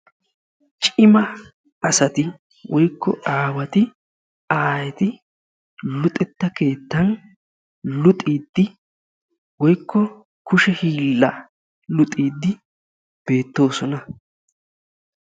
Cima asati woyikko aawati, aayeti luxetta keettan luxiiddi woyikko kushe hiillaa luxiiddi beettoosona.